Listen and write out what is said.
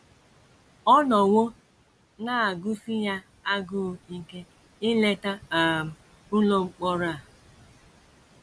Ọ nọwo na - agụsi ya agụụ ike ileta um ụlọ mkpọrọ a.